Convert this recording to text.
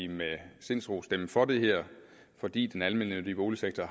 med sindsro stemme for det her fordi den almennyttige boligsektor